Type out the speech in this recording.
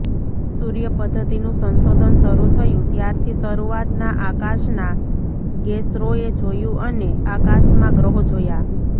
સૂર્ય પધ્ધતિનું સંશોધન શરૂ થયું ત્યારથી શરૂઆતના આકાશના ગેસરોએ જોયું અને આકાશમાં ગ્રહો જોયા